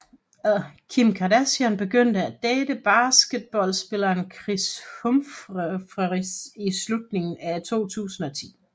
Kim Kardashian begyndte at date basketballspilleren Kris Humphries i slutningen af 2010